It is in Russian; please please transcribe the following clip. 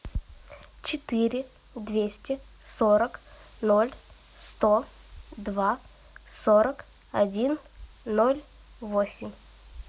четыре двести сорок ноль сто два сорок один ноль восемь